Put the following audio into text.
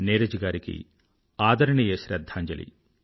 నీరజ్ గారికి ఆదరణీయ శ్రధ్ధాంజలి